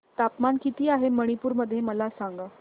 तापमान किती आहे मणिपुर मध्ये मला सांगा